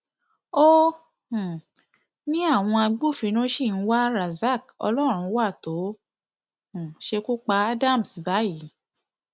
ó um ní àwọn agbófinró ṣì ń wá rasaq ọlọrunwá tó um ṣekú pa adams báyìí